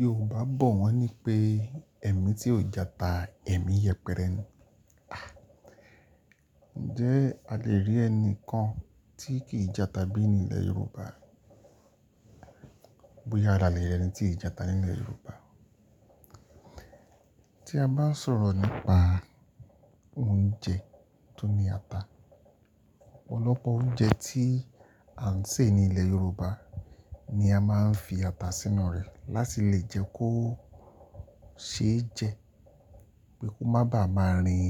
Yorùbá bọ̀ wọ́n ní pé ẹ̀mí tí ò jata, ẹ̀mí yẹpẹrẹ ni. À, ǹjẹ́ a lè rí ẹni kan tí kì í jata bí ní ilẹ̀ Yorùbá? Bóyá la le rí ẹni tí ì jata nílẹ̀ Yorùbá. Tí a bá ń sọ̀rọ̀ nípa ounje tó ní ata, ọ̀pọ̀lọpọ̀ oúnjẹ tí à ń sè ní ilẹ̀ Yorùbá ni a máa ń fi ata sínú rẹ̀ láti lè jẹ́ kó ṣe é jẹ, pé kó má bàá máa rìn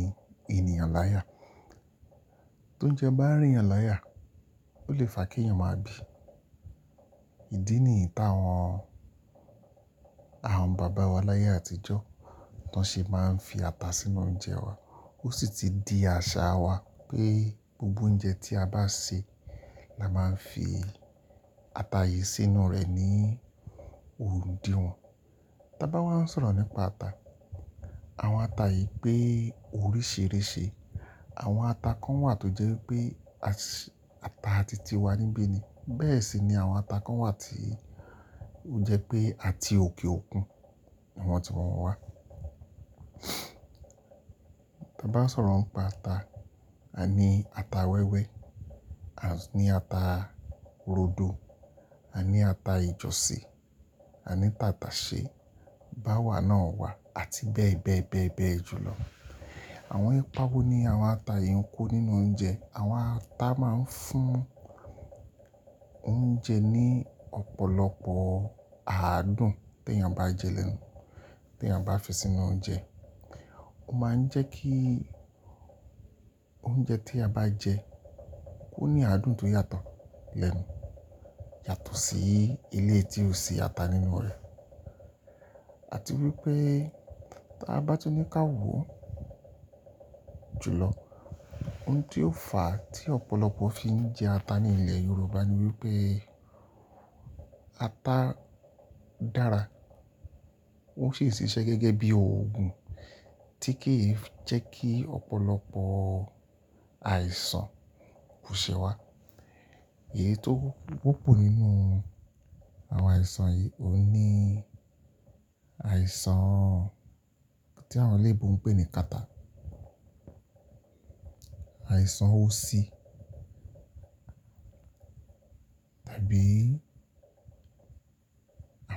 ènìyàn láya. Tóuńjẹ bá rìn ènìyàn láya, ó lè fà kí ènìyàn máa bì. Ìdí nìyí tàwọn àwọn bàbá wa láyé àtijọ́, tán ṣe máa ń fi ata sínú oúnjẹ wa. Ó sì ti di àṣà wa pé gbogbo oúnjẹ tí a bá sè la máa ń fi ata yìí sínú rẹ̀ ní òru dí wọn. Tábá wá ń sọ̀rọ̀ nípa ata, àwọn ata yìí pé oríṣíríṣì. Àwọn ata kan wà tó jẹ́ wipé àṣ- ata ti ti wa níbí ni. Bẹ́ẹ̀ sì ni àwọn ata kan wà tí ó jẹ́ pé a ti òkè òkun, ni wọn ti wọn wá. Tábá sọ̀rọ̀ ń pa ata, à ní ata wẹ́wẹ́, à ní ata rodo, à ní ata ìjọ̀sìn, à ní tàtàṣẹ́, báwà náà wà àti bẹ́ẹ̀ bẹ́ẹ̀ bẹ́ẹ̀ bẹ́ẹ̀ julọ. Àwọn ipa wo ní àwọn ata yìí ń kó nínú oúnjẹ. Àwọn ata máa ń fún oúnjẹ ní ọ̀pọ̀lọpọ̀ àádùn tí èèyàn bá jẹ́ lẹ́nu, tí èèyàn bá fi sínú oúnjẹ. Ó máa ń jẹ́ kí oúnjẹ tí a bá jẹ kó ní àádùn tó yàtọ̀ lẹ́nu, yàtọ̀ sí eléyìí ti ò sí ata nínú rẹ̀. Àti wípé tí a bá tún ní ká wòó jùlọ, oun tí ó fà á tí ọ̀pọ̀lọpọ̀ fi ń jẹ ata ní ilẹ̀ Yorùbá ni wípé ata dára. Ó ṣì n ṣiṣẹ́ gẹ́gẹ́ bí òògun tí kì í jẹ́ kí ọ̀pọ̀lọpọ̀ àìsàn bùṣẹ wá. Èyí tó wọ́pọ̀ nínú àwọn àìsàn yìí, òun ní àìsàn tí àwọn eleebo ń pè ní kata, àìsàn osí tàbí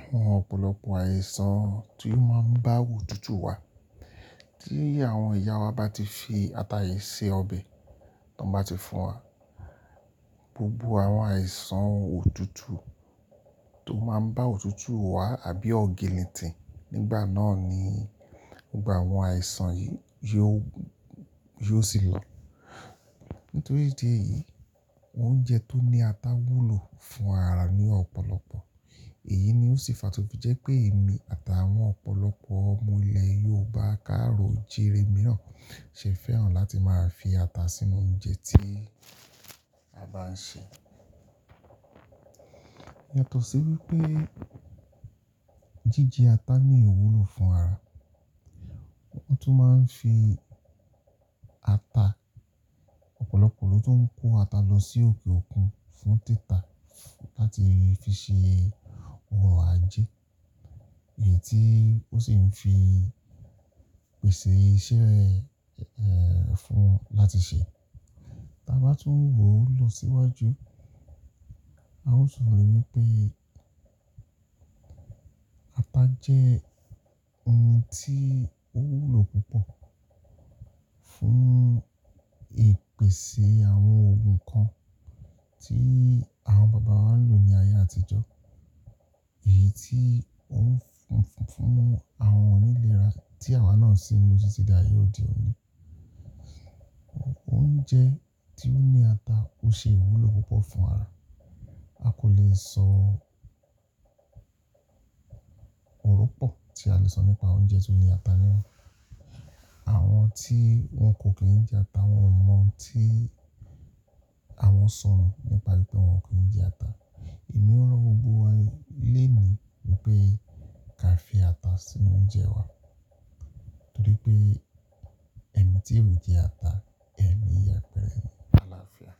àwọn ọ̀pọ̀lọpọ̀ àìsàn tí ó máa ń bá a otutù wá. Tí àwọn ìyá wa bá ti fi ata yìí se ọbẹ̀, tàn bá ti fún wa, gbogbo àwọn àìsàn òtútù tó máa ń bá òtútù wá àbí ọginnìtìn nígbà náà ni, nígbà àwọn àìsàn yìí yó, yó sì lọ. Nítorí ìdí èyí, oúnjẹ tó ní ata wúlò fún ara ní ọ̀pọ̀lọpọ̀. Èyí ni ó sì fà tó fi jẹ́ pé èmí àtàwọn ọ̀pọ̀lọpọ̀ ọmọ ilẹ̀ Yorùbá kárò o jirè mìíràn ṣe fẹ́ràn láti máa fi ata sínú oúnjẹ tí a bá ń sè. Yàtọ̀ sí wípé jíjẹ ata ní ìwúlò fún ara. Wọ́n tún máa ń fi ata, ọ̀pọ̀lọpọ̀ ló tún kó ata lọ sí òkè òkun fún tita láti fi ṣe òrò ajé. Èyí tí ó sì ń fi pèsè iṣẹ́ rẹ̀, eẹ́, fún un láti ṣe. Tábá tún wòó lọ síwájú, a ó sọ wípé ata jẹ́ oun tí ó wúlò púpọ̀ fún ìpèsè àwọn òògun kan tí àwọn bàbá wa ń lò ní ayé àtijọ́. Èyí tí ó ń fún, fún, fún àwọn onílé ra tí àwa náà sì ń lò títí di ayé òde òní. Oúnjẹ tí ó ní ata ó ṣe ìwúlò púpọ̀ fún ara. A kò lè sọ Ọrọ pọ tí a lè sọ nípa oúnjẹ tó ní ata ninu. Àwọn tí wọ́n kò kí ń jẹ ata, wọ́n ò mọ ohun tí àwọn sọnù nípa ìdí tí wọ́n kò ní jẹ ata. Emi rọ gbogbo wa ni, léèní wípé ká fi ata sínú oúnjẹ wa, torí pé ẹ̀mí tí ò jẹ ata, ẹ̀mí yẹpẹrẹ ni. Aláfíà.